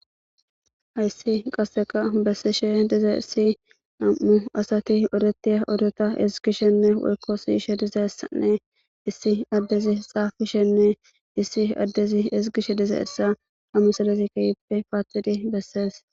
hayssi qasseka bessishe diza essi nam7u asati odetiya odota ezigishenne wolko siishe diza essanne issi addezi xaaishenne issi addezi izigishe diza essa ammu salezi keyppe paaxidi bessees